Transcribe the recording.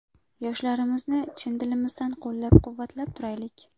Yoshlarimizni chin dilimizdan qo‘llab-quvvatlab turaylik!